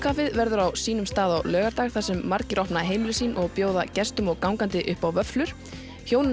verður á sínum stað á laugardag þar sem margir opna heimili sín og bjóða gestum og gangandi upp á vöfflur hjónin